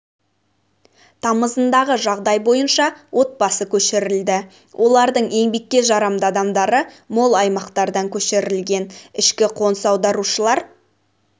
тамызындағы жағдай бойынша отбасы көшірілді олардың еңбекке жарамды адамдары мол аймақтардан көшірілген ішкі қоныс аударушылар